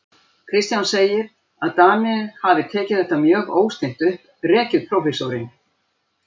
Kristján segir, að Danir hafi tekið þetta mjög óstinnt upp, rekið prófessorinn